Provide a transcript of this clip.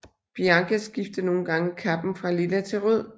Bianca skifter nogle gange kappen fra lilla til rød